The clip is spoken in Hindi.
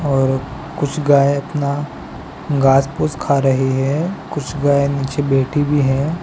और कुछ गाय अपना घास फूस खा रही है कुछ गाय नीचे बैठी भी है।